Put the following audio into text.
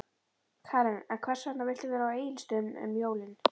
Karen: En hvers vegna viltu vera á Egilsstöðum um jólin?